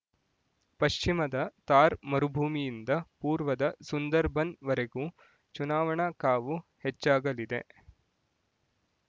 ಪಶ್ಚಿಮದ ಥಾರ್ ಮರುಭೂಮಿಯಿಂದ ಪೂರ್ವದ ಸುಂದರ್‌ಬನ್ ವರೆಗೂ ಚುನಾವಣಾ ಕಾವು ಹೆಚ್ಚಾಗಲಿದೆ